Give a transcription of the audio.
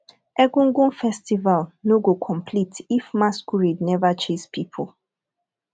egungun festival no go complete if masquerade never chase people